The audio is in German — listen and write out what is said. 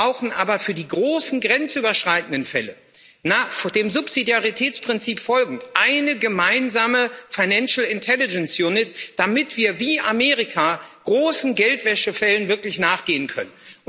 Wir brauchen aber für die großen grenzüberschreitenden Fälle, dem Subsidiaritätsprinzip folgend, eine gemeinsame Financial Intelligence Unit damit wir wie Amerika großen Geldwäschefällen wirklich nachgehen können.